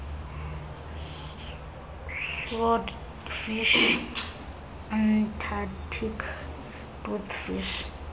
swordfish antarctic toothfish